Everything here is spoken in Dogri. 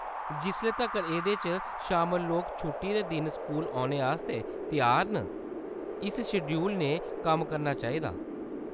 जिसले तक्कर एह्‌‌‌दे च शामल लोक छुट्टी दे दिन स्कूल औने आस्तै त्यार न, इस शेड्यूल ने कम्म करना चाहिदा।